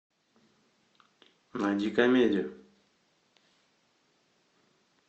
найди комедию